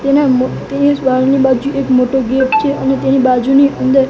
બાજુ એક મોટો ગેટ છે અને તેની બાજુની અંદર--